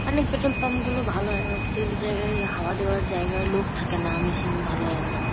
অনেক petrol pump গুলো ভালো হয়। আবার কিছু কিছু জায়গায় হাওয়া দেওয়ার জায়গায় লোক থাকে না মেশিন ভালো হয় না।